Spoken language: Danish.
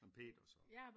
Nej men Peter så